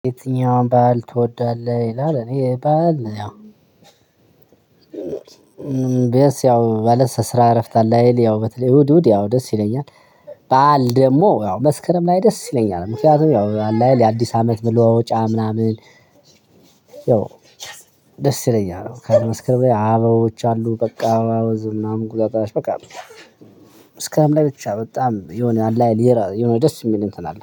የትኛውን በዓል ትወዳለህ? ይላል እኔ በዓል ያው ማለት ስሰራ እረፍት አለ አይደል ያው በተለይ እሁድ እሁድ ያው ደስ ይለኛል። በዓል ደግሞ ያው መስከረም ላይ ደስ ይለኛል። ምክንያቱም ያው አለ አይደል የአዲስ አመት መለዋወጫ ምናምን ያው ደስ ይለኛል መስከረም ላይ አበቦች አሉ በቃ መስከረም ላይ ብቻ በጣም የሆነ አለ አይደል የሆነ ደስ የሚል እንትን አለ